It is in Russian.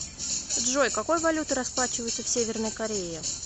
джой какой валютой расплачиваются в северной корее